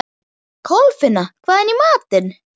Kolfinna, hvað er í matinn?